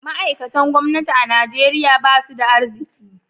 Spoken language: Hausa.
Ma'aikatan gwamnati a Najeriya ba su da arziki